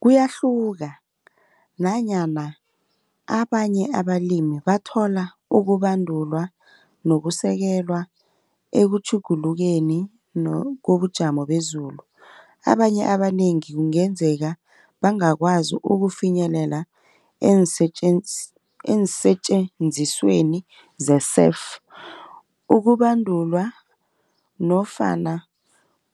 Kuyahluka nanyana abanye abalimi bathola ukubandulwa nokusekelwa, ekutjhugulukeni kobujamo bezulu. Abanye abanengi ngenzeka bangakwazi ukufinyelela eensetjenzisweni ze-serf. Ukubandulwa nofana